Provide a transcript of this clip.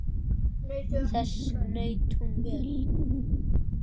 Þess naut hún vel.